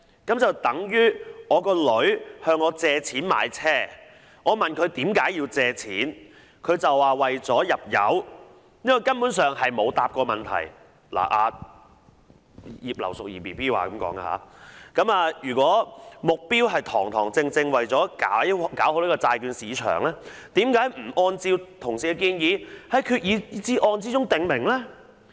這便等於我的女兒向我借錢買車，我問她為何要借錢，她便說是為了入油，這根本上是沒有回答"，這是"葉劉淑儀 BB" 說的，"如果目標是堂堂正正為了搞好債券市場，何不按照同事的建議，在決議案中訂明？